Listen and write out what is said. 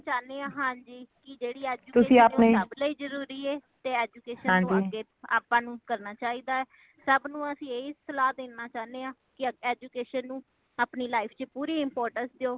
ਚਾਹਣੀ ਆ ਹਾਂਜੀ ਕੀ ਜੇੜੀ education ਹੈ ਉਹ ਸਬ ਲਈ ਜਰੂਰੀ ਏ। ਤੇ education ਨੂੰ ਅੱਗੇ ਆਪਾ ਨੂੰ ਕਰਨਾ ਚਾਹੀਦਾ , ਸਬ ਨੂੰ ਅਸੀਂ ਇਹੀ ਸਲਾਹਾਂ ਦੇਣਾ ਚਾਂਦੇ ਆ education ਨੂੰ ਆਪਣੀ life ਵਿੱਚ ਪੂਰੀ importance ਦਯੋ